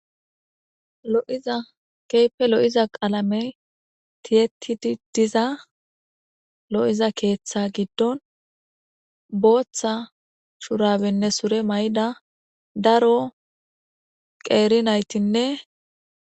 Lo,iza keepe lo7iza qaalame tiyettidi diza lo7iza keeththa giddon booththa shurabenne sure may7da daro qeeri naytinne